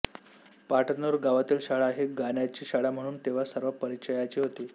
पाटनूर गावातली शाळा ही गाण्याची शाळा म्हणून तेव्हा सर्व परिचयाची होती